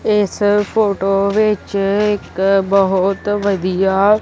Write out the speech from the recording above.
ਇਸ ਫੋਟੋ ਵਿੱਚ ਇੱਕ ਬਹੁਤ ਵਧੀਆ--